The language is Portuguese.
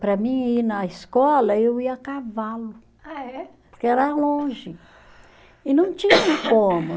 Para mim, ir na escola, eu ia a cavalo. Ah é? Porque era longe e não tinha como.